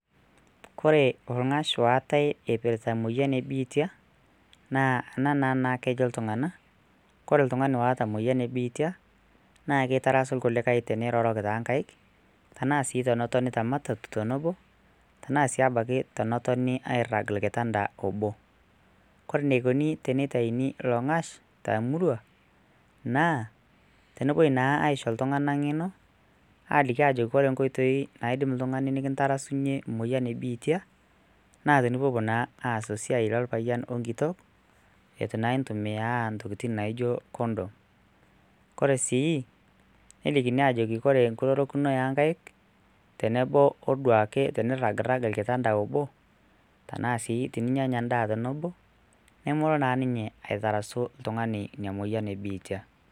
Koree olng'ash oatae eipirrta moyian ebiitia naa ana naa kejo ltungana kore ltungani ooota emoyian ebiitia naa keitarasu lkulikai teneiroroki too nkaik tanaa sii tenaa sii tenotoni te matatu tenepo tanaa si abaki tenetoni airag olkitanda oboo. Kore neikoni teneitaini ilo olng'ash tr murrua naa tenepoi naa aisho ltunganak ing'eno aapo aaliki aajoki kore inkoitoi naidim ltungani nikintarasunye emoyian ebiitia na tenipopo naa esiaai olpayen onkitok etu naa intumiyaa ntokitin naaijo condom ,kore sii nelikini aajoki kore nkurorokino onkaik tenebo oduake teniragrag olkitabda oboo tanaa sii teninyanya ndaa tenebo nemelo naa ninye aitarasu ltungani ina imoyian ebiitia.